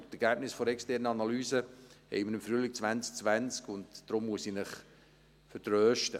Die Ergebnisse der externen Analyse werden wir im Frühling 2020 haben, und daher muss ich Sie vertrösten.